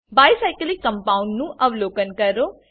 bi cyclic compound નું અવલોકન કરો